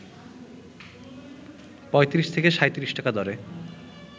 ৩৫ থেকে ৩৭ টাকা দরে